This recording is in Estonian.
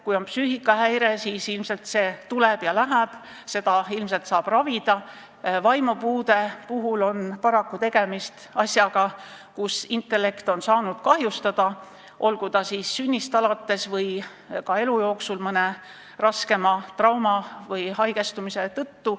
Kui on psüühikahäire, siis see tuleb ja läheb, seda ilmselt saab ravida, vaimupuude puhul on paraku tegemist sellega, et intellekt on saanud kahjustada, kas siis sünnist alates või elu jooksul mõne raske trauma või haigestumise tõttu.